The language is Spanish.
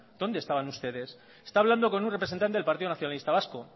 dónde estaban ustedes está hablando con un representante del partido nacionalista vasco